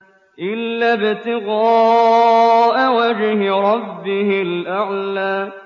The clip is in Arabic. إِلَّا ابْتِغَاءَ وَجْهِ رَبِّهِ الْأَعْلَىٰ